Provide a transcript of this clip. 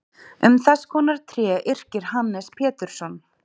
Um þess konar tré yrkir Hannes Pétursson: